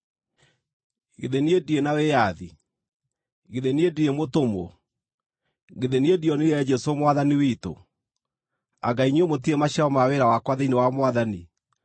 Githĩ niĩ ndirĩ na wĩyathi? Githĩ niĩ ndirĩ mũtũmwo? Githĩ niĩ ndionire Jesũ Mwathani witũ? Anga inyuĩ mũtirĩ maciaro ma wĩra wakwa thĩinĩ wa Mwathani?